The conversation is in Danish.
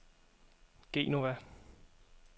Genova